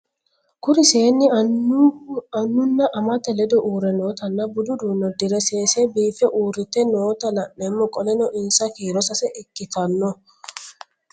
Kuri seeni anuna amate ledo uure nootana budu udune udire sesena biife urite noota la'nemo qoleno insa kiiro sase ikinotana